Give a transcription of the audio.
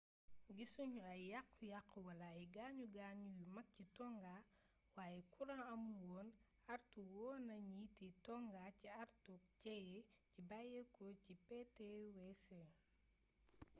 gissugnu ay yaxxu yaxxu wala ay gaañu gaañu yu mag ci tonga wayé kuran amul woon artu woonna njiiti tonga ci artuk jéyee ji bayyéko ci ptwc